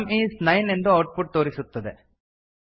some is nine ಎಂದು output ತೋರಿಸುತ್ತದೆ